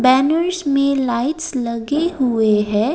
एंवीश में लाइट्स लगे हुए हैं।